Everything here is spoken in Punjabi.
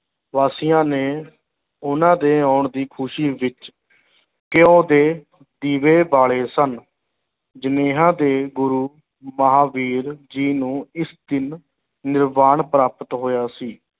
ਵਾਸੀਆਂ ਨੇ ਉਹਨਾਂ ਦੇ ਆਉਣ ਦੀ ਖੁਸ਼ੀ ਵਿੱਚ ਘਿਉ ਦੇ ਦੀਵੇ ਬਾਲੇ ਸਨ ਦੇ ਗੁਰੂ ਮਹਾਂਵੀਰ ਜੀ ਨੂੰ ਇਸ ਦਿਨ ਨਿਰਵਾਨ ਪ੍ਰਾਪਤ ਹੋਇਆ ਸੀ,